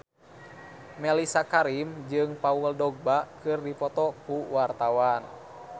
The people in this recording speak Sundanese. Mellisa Karim jeung Paul Dogba keur dipoto ku wartawan